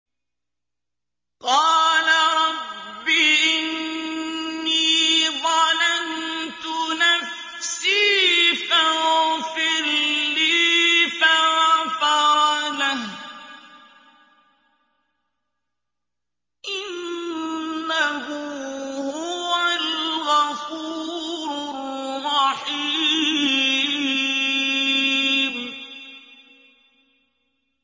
قَالَ رَبِّ إِنِّي ظَلَمْتُ نَفْسِي فَاغْفِرْ لِي فَغَفَرَ لَهُ ۚ إِنَّهُ هُوَ الْغَفُورُ الرَّحِيمُ